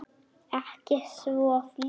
Ekki svo fljótt.